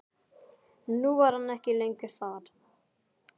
Nú var hann ekki lengur þar.